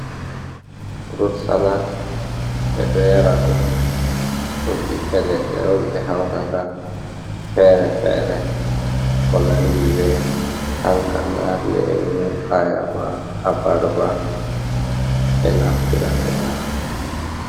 Frut salat, ɓe ɗo yara ɗum, ɗum ɓiɓɓe leɗɗe on ɓe hautata fere-fere ko nandi be kankana, lemu, ayaba, abarba, ɓe naftira ɓe yara.